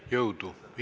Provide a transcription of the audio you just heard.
Jõudu!